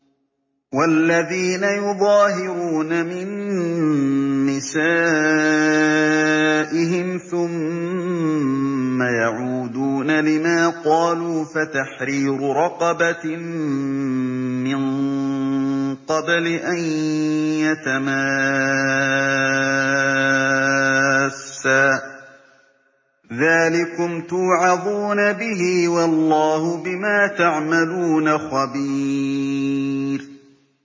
وَالَّذِينَ يُظَاهِرُونَ مِن نِّسَائِهِمْ ثُمَّ يَعُودُونَ لِمَا قَالُوا فَتَحْرِيرُ رَقَبَةٍ مِّن قَبْلِ أَن يَتَمَاسَّا ۚ ذَٰلِكُمْ تُوعَظُونَ بِهِ ۚ وَاللَّهُ بِمَا تَعْمَلُونَ خَبِيرٌ